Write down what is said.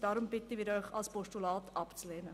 Darum bitten wir Sie, das Postulat abzulehnen.